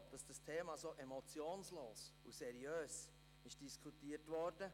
Ich bin froh, dass es so emotionslos und seriös diskutiert wurde.